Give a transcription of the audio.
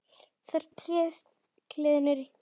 Þar réð gleðin ríkjum.